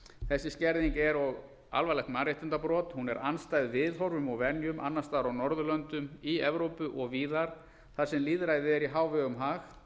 þessi skerðing er alvarlegt mannréttindabrot hún er andstæð viðhorfum og venjum annars staðar á norðurlöndum í evrópu og víðar þar sem lýðræði er í hávegum